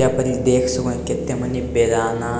यहां पर इ देख सको ही कते मनी बनाना